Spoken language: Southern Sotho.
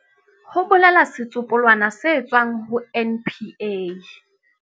Ho bolela setsopolwana se tswang ho NPA.